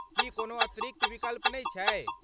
की कोनो अतिरिक्त विकल्प नै छै?